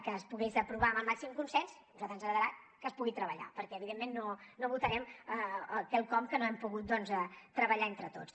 que es pogués aprovar amb el màxim consens a nosaltres ens agradarà que es pugui treballar perquè evidentment no votarem quelcom que no hem pogut doncs treballar entre tots